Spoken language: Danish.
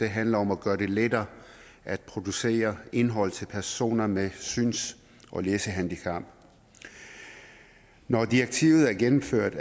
handler om at gøre det lettere at producere indhold til personer med syns og læsehandicap når direktivet er gennemført